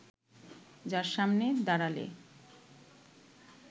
যার সামনে দাড়ালে